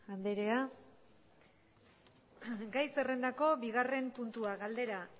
anderea gai zerrendako bigarren puntua galdera